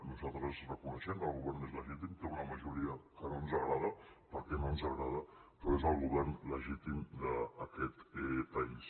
nosaltres reconeixem que el govern és legítim té una majoria que no ens agrada perquè no ens agrada però és el govern legítim d’aquest país